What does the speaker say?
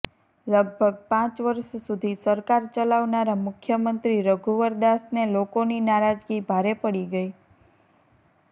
લગભગ પાંચ વર્ષ સુધી સરકાર ચલાવનારા મુખ્યમંત્રી રઘુવરદાસને લોકોની નારાજગી ભારે પડી ગઈ